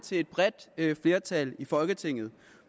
sige et bredt flertal i folketinget